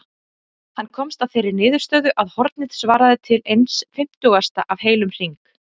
Hann komst að þeirri niðurstöðu að hornið svaraði til eins fimmtugasta af heilum hring.